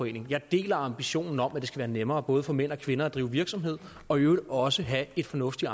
jeg deler ambitionen om at det skal være nemmere både for mænd og kvinder at drive virksomhed og i øvrigt også have et fornuftigt